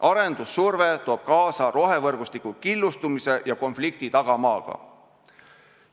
Arendussurve toob kaasa rohevõrgustiku killustumise ja konflikti tagamaaga.